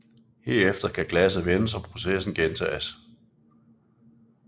Herefter kan glasset vendes og processen gentages